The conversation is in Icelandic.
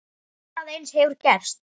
Annað eins hefur gerst.